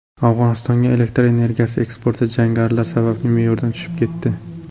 Afg‘onistonga elektr energiyasi eksporti jangarilar sababli me’yordan tushib ketdi.